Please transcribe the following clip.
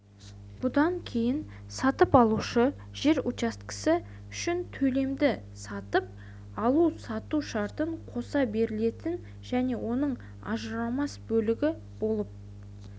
бұдан кейін сатып алушы жер учаскесі үшін төлемді сатып алу-сату шартына қоса берілетін және оның ажырамас бөлігі болып